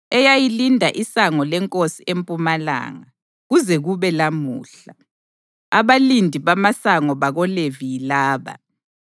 eyayilinda iSango leNkosi empumalanga, kuze kube lamuhla. Abalindi bamasango bakoLevi yilaba: